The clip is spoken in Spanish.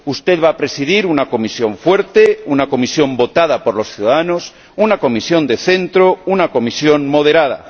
Usted va a presidir una Comisión fuerte, una Comisión votada por los ciudadanos, una Comisión de centro, una Comisión moderada.